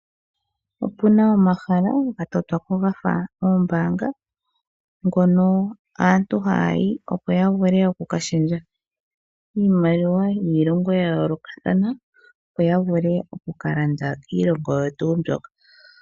Otuna omahala ga totwa po gafa oombaanga ngono aantu haya yi opo ya vule oku kashendja iimaliwa yiilongo ya yoolokathana yoya vule oku kalanda kiilongo oyo tuu mbyoka.